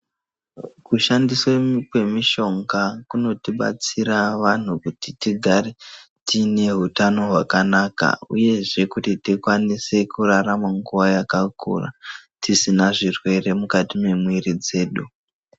Kushandiswa kwemishonga kunotibatsira vanhu kuti tigare tiine hutano hwakanaka uyezve kuti tikwanise kutarama nguva yakakura tisina zvirwere mukati memwiri dzedu.